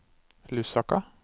Lusaka